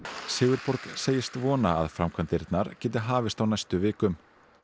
Sigurborg segist vona að framkvæmdirnar geti hafist á næstu vikum